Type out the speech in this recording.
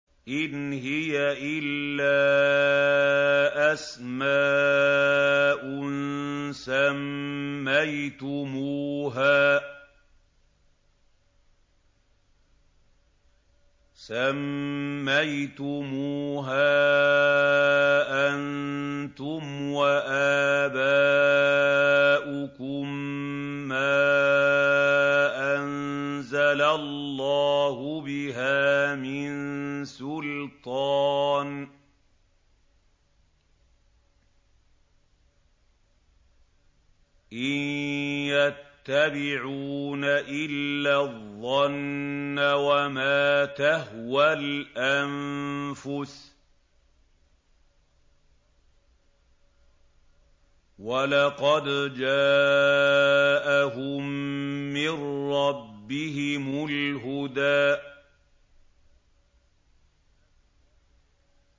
إِنْ هِيَ إِلَّا أَسْمَاءٌ سَمَّيْتُمُوهَا أَنتُمْ وَآبَاؤُكُم مَّا أَنزَلَ اللَّهُ بِهَا مِن سُلْطَانٍ ۚ إِن يَتَّبِعُونَ إِلَّا الظَّنَّ وَمَا تَهْوَى الْأَنفُسُ ۖ وَلَقَدْ جَاءَهُم مِّن رَّبِّهِمُ الْهُدَىٰ